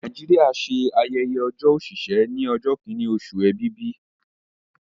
Nàìjíríà ṣe ayẹyẹ ọjọ́ òṣìṣẹ́ ní ọjọ́ kìíní oṣù Èbìbì